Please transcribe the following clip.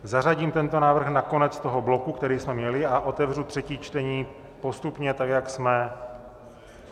Zařadím tento návrh na konec toho bloku, který jsme měli, a otevřu třetí čtení postupně tak, jak jsme...